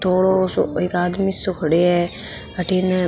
थोड़ो सो एक आदमी सो खड़े है अठीने --